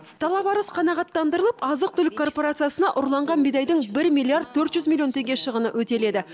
талап арыз қанағаттандырылып азық түлік корпорациясына ұрланған бидайдың бір миллиард төрт жүз милллион теңге шығыны өтеледі